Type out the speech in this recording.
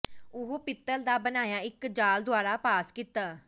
ਉਹ ਪਿੱਤਲ ਦਾ ਬਣਾਇਆ ਇੱਕ ਜਾਲ ਦੁਆਰਾ ਪਾਸ ਕੀਤਾ